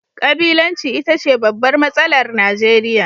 Kabilanci ita ce babbar matsalar Najeriya